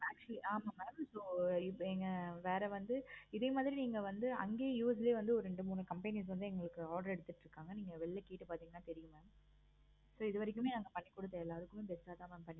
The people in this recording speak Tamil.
actually ஆமா mam so இப்ப so வேற வந்து இதே மாதிரி நீங்க வந்து அங்கேயும் US ல ரெண்டு மூணு companies வந்து எங்களுக்கு order எடுத்துட்டு இருக்காங்க. நீங்க வெளியில கேட்டு பார்த்தீங்கன்னா தெரியும் mam so இது வரைக்குமே நாங்க பண்ணி கொடுத்த எல்லாருக்குமே best ஆஹ் thaan mam